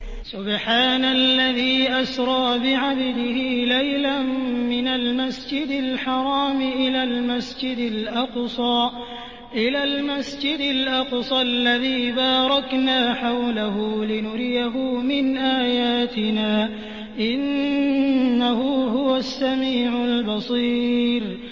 سُبْحَانَ الَّذِي أَسْرَىٰ بِعَبْدِهِ لَيْلًا مِّنَ الْمَسْجِدِ الْحَرَامِ إِلَى الْمَسْجِدِ الْأَقْصَى الَّذِي بَارَكْنَا حَوْلَهُ لِنُرِيَهُ مِنْ آيَاتِنَا ۚ إِنَّهُ هُوَ السَّمِيعُ الْبَصِيرُ